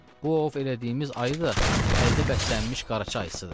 Bu ov elədiyimiz ayı da əldə bəslənmiş Qaraca ayısıdır.